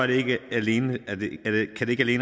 det ikke alene